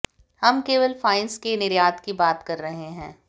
हम केवल फाइन्स के निर्यात की बात कर रहे हैं